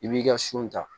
I b'i ka su ta